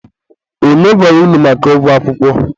onye gwara unu maka ụgwọ akwụkwọ?